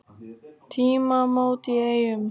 Tímamót í Eyjum